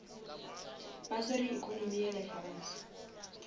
ba swere economy ya lefase